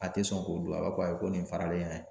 A te sɔn k'o don a b'a fɔ ko ayi ko nin faralen y'a ye